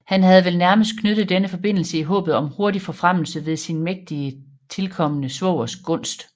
Han havde vel nærmest knyttet denne forbindelse i håbet om hurtig forfremmelse ved sin mægtige tilkommende svogers gunst